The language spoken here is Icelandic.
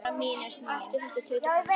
Hættu þessu tauti og farðu að sofa.